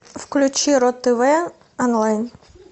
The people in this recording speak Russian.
включи ру тв онлайн